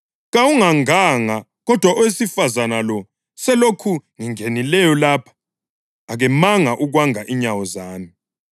Kawunganganga, kodwa owesifazane lo selokhu ngingenileyo lapha akemanga ukwanga inyawo zami.